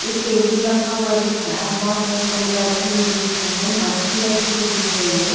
एक टेबिल रखा हुआ दिख रहा है बहुत सारे लोग बैठे हुए दिख रहे है मच्छी रखी हुई दिख रही है।